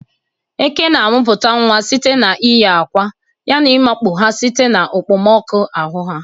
Eke na-amụpụta nwa site n'iyi akwa ya na ịkwanye ha site na okpomọkụ ahụ ha.